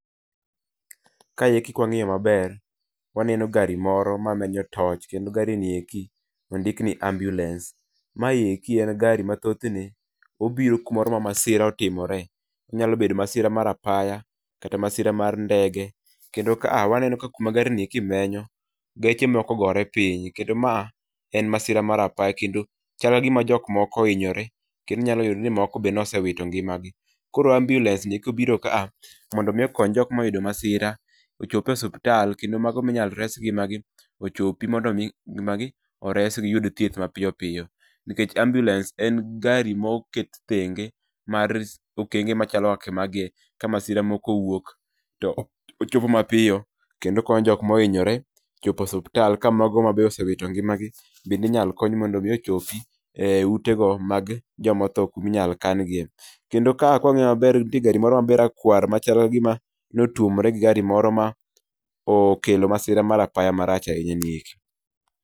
Ka eki kwa ngiyo maber, waneno gari moro ma menyo torch, kendo gari ni eki ondik ni ambulance. Ma eki en gari ma thothne obiro kuma masira itimore, onyalo bedo masira moro mar apaya, kata kata mar ndege, kendo ka waneno ka kuma gari ni menyo, geche moko ogore piny, kendo ma en masira mar apaya kendo chal ka gima jo moko ohinyore kendo inyalo yudo ni jok moko be ne ose wito ngimagi. koro ambulance ni ka obiro kaa, mondo mi okony jok moyudo masira ochop e osuptal , kendo mago ma inyal res ngima ochopi mondo mi giyud thieth mapiyo piyo. nikech ambulance en gari ma oket thenge , mar okenge machalo kaka magi e ka masira moro owuok to ochopo mapiyo kenod okonyo jok mohinyore chopo osuptal ka mago ma be osewito ngimagi, inyalo kony mondo be ochopi e utego mag joma otho kuma inyal kan gie. Kendo ka kawang'iyo maber to nitie gari moro rakwar machal kagima notwomore gi gari moro ma okelo masira mar apaya marach ahinya ni eki.